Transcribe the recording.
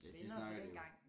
Venner fra dengang